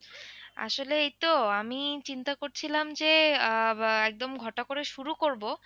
আসলে এই তো আমি চিন্তা করছিলাম যে আহ একদম ঘটা করে শুরু করব।